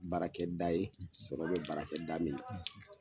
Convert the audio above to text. Baarakɛda ye sɔrɔ be baarakɛda min na